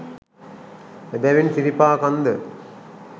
එබැවින් සිරිපා කන්ද